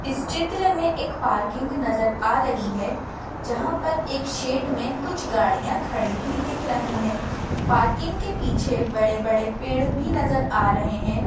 इस चित्र मे एक पार्किंग नजर आ रही है जहा पर एक शेड मे कुछ गाडियाँ खड़ी हुई दिख रही है पार्किंग के पीछे बड़े बड़े पेड़ भी नजर आ रहे है।